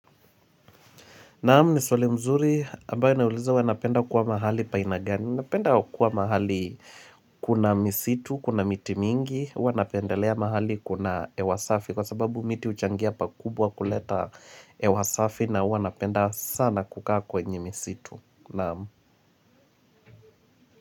Naam ni swali mzuri ambayo inauliza huwa napenda kuwa mahali pa aina gani. Napenda kuwa mahali kuna misitu, kuna miti mingi. Huwa napendelea mahali kuna hewa safi kwa sababu miti huchangia pakubwa kuleta hewa safi na huwa napenda sana kukaa kwenye misitu. Naam.